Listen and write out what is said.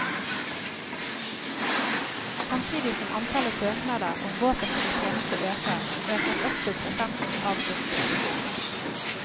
Samtidig som antallet søknader om våpenfri tjeneste øker, økes også prosenten avslåtte søknader.